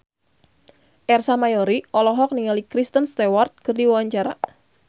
Ersa Mayori olohok ningali Kristen Stewart keur diwawancara